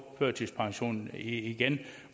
førtidspensionen igen